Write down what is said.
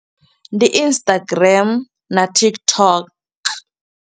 Ndi Instagram na TikTok.